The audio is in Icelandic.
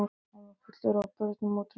Hann var fullur af börnum og trjám.